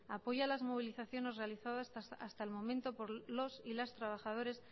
apoya las movilizaciones realizadas hasta el momento por los y las trabajadores